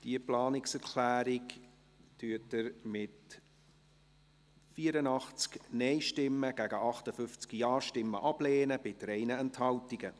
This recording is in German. Sie lehnen diese Planungserklärung ab, mit 84 Nein- gegen 58 Ja-Stimmen bei 3 Enthaltungen.